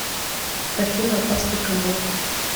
афина опасный канал